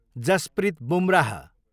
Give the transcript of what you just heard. Jasprit Bumrah